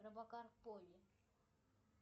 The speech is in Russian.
робокар поли